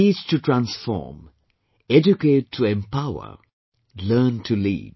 Teach to Transform, Educate to Empower, Learn to Lead